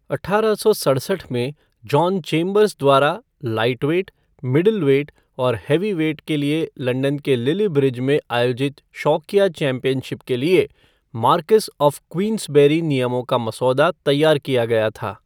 अठारह सौ सड़सठ में, जॉन चेम्बर्स द्वारा लाइटवेट, मिडलवेट और हैवीवेट के लिए लंदन के लिल्ली ब्रिज में आयोजित शौकिया चैंपियनशिप के लिए मार्क्वेस ऑफ़ क्वींसबेरी नियमों का मसौदा तैयार किया गया था।